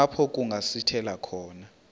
apho kungasithela khona